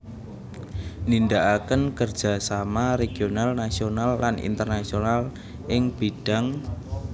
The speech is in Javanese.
Nindakaken kerja sama regional nasional lan internasional ing bidhang